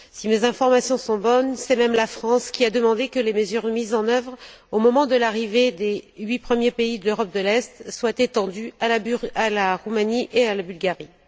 Si mes informations sont bonnes, c'est même la France qui a demandé que les mesures mises en œuvre au moment de l'arrivée des huit premiers pays de l'Europe de l'est soient étendues à la Roumanie et à la Bulgarie.